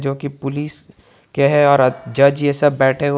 क्योंकि पुलिस के है और जज ये सब बैठे हुए--